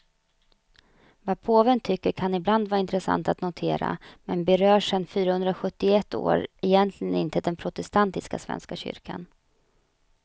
Vad påven tycker kan ibland vara intressant att notera, men berör sen fyrahundrasjuttioett år egentligen inte den protestantiska svenska kyrkan.